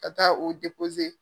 Ka taa o